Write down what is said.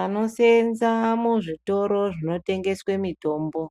Anoseenza muzvitoro zvinotengeswe mitombo,